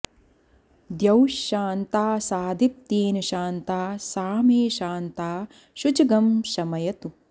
द्यौश्शा॒न्ता सादि॒त्येन॑ शा॒न्ता सा मे॑ शा॒न्ता शुचग्ं॑ शमयतु